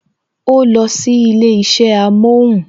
O losi ilé isẹ amohun